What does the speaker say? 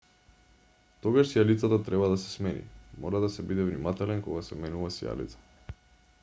тогаш сијалицата треба да се смени мора да се биде внимателен кога се менува сијалица